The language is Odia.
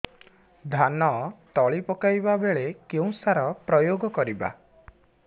ଧାନ ତଳି ପକାଇବା ବେଳେ କେଉଁ ସାର ପ୍ରୟୋଗ କରିବା